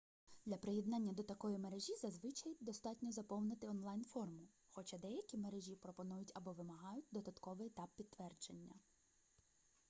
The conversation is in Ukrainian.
для приєднання до такої мережі зазвичай достатньо заповнити онлайн-форму хоча деякі мережі пропонують або вимагають додатковий етап підтвердження